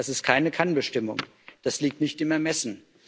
Das ist keine Kannbestimmung, das liegt nicht im Ermessen.